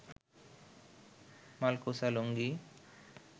মালকোঁচা লুঙ্গি